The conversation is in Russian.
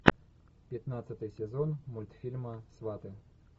пятнадцатый сезон мультфильма сваты